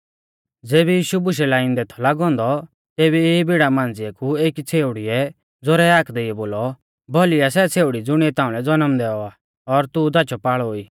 ज़ेबी यीशु बुशै लाइंदै थौ लागौ औन्दौ तेबी ई भीड़ा मांझ़िऐ कु एकी छ़ेउड़ीऐ ज़ोरै हाक देइयौ बोलौ भौली आ सै छ़ेउड़ी ज़ुणीऐ ताउंलै ज़नम दैऔ आ और तू धाचौपाल़ौ ई